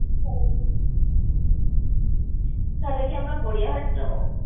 থালে কি আমরা গড়িয়াহাট যাবো?